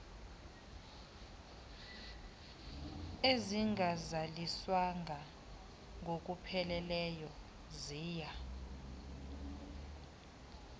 ezingazaliswanga ngokupheleleyo ziya